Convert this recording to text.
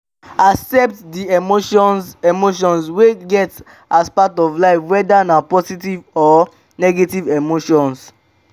accept di emotions emotions wey you get as part of life weda na positive or negative emotions